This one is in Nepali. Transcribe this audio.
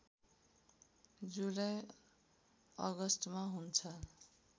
जुलाई अगस्टमा हुन्छ